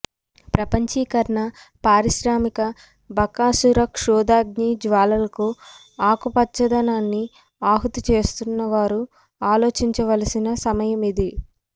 ప్రపంచీకరణ పారిశ్రామిక బకాసుర క్షుదాగ్ని జ్వాలలకు ఆకుపచ్చదనాన్ని ఆహుతి చేస్తున్నవారు ఆలోచించవలసిన సమయమిది